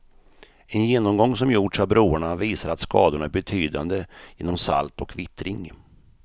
En genomgång som gjorts av broarna visar att skadorna är betydande genom salt och vittring.